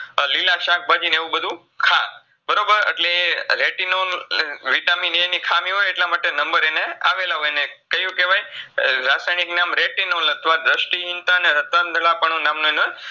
લીલા શાકભાજીન એવુંબધું ખા બરોબર અટલે retinol લ Vitamin A ની ખામી હોય અટલમાટે Number એને આવેલા હોય ને કયું કેવાય રાસાયનીક નામ retinol અથવા દૃષ્ટિહીનતા અને રતઅંધલાપણું નામનું એનું